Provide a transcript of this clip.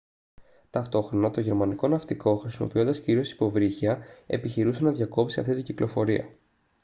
ταυτόχρονα το γερμανικό ναυτικό χρησιμοποιώντας κυρίως υποβρύχια επιχειρούσε να διακόψει αυτή την κυκλοφορία